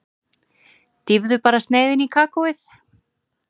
Dýfðu bara sneiðinni í kakóið.